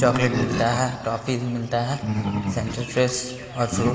chocolate मिलता है toffee मिलता है सेंटर फ्रेश और फ्रूट --